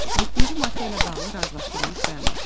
Yeddinci maddə ilə bağlı razılaşdırılmış bəyanat.